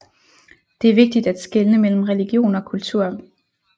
Det er vigtigt at skelne mellem religion og kultur